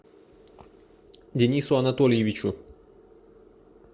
денису анатольевичу